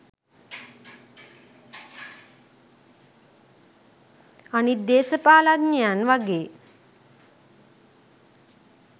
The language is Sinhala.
අනිත් දේශපාලඥයන් වගේ